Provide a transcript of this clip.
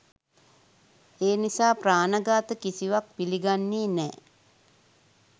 ඒ නිසා ප්‍රාණ ඝාත කිසිවත් පිළිගන්නේ නෑ.